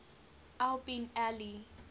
al bin ali